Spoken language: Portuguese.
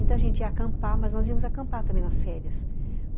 Então, a gente ia acampar, mas nós íamos acampar também nas férias, uhum.